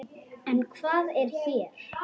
En hvað er hér?